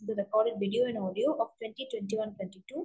the recorded video and audio of 2021-22